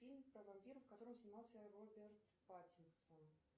фильм про вампиров в котором снимался роберт паттинсон